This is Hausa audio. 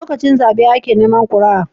Lokacin zabe ake Neman kuria